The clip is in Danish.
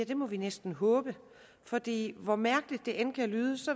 det må vi næsten håbe fordi hvor mærkeligt det end kan lyde